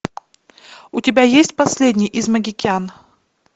у тебя есть последний из магикян